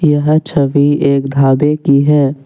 यह छवि एक ढाबे की है।